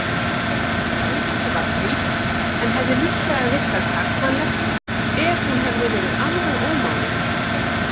Andlitið var frítt en hefði líklega virkað karlmannlegt ef hún hefði verið alveg ómáluð.